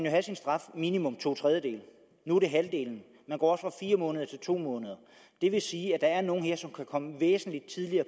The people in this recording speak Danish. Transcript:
have sin straf minimum to tredjedele nu er det halvdelen man går fra fire måneder til to måneder det vil sige at der er nogle her som kan komme væsentlig tidligere